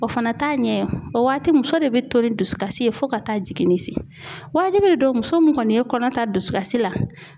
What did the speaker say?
O fana t'a ɲɛ ye, o waati muso de bɛ to ni dusukasi ye fo ka taa jigin, waati de don muso min ye kɔni ye kɔnɔ ta dusukasi la